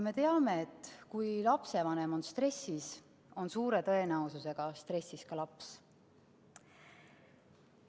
Me teame, et kui lapsevanem on stressis, on suure tõenäosusega stressis ka laps.